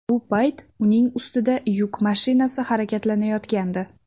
Bu payt uning ustida yuk mashinasi harakatlanayotgandi.